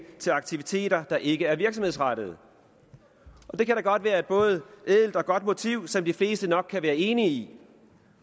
til aktiviteter der ikke er virksomhedsrettede det kan da godt være et både ædelt og godt motiv som de fleste nok kan være enige i